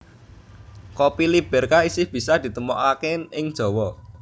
Kopi Liberka isih bisa ditemokake ing Jawa